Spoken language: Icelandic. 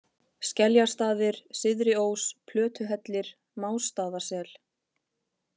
Skeljastaðir, Syðriós, Plötuhellir, Másstaðasel